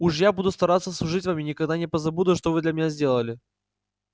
уж я буду стараться служить вам и никогда не позабуду что вы для меня сделали